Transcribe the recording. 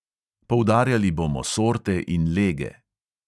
Poudarjali bomo sorte in lege.